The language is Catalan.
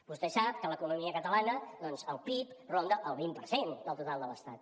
vostè sap que a l’economia catalana doncs el pib ronda el vint per cent del total de l’estat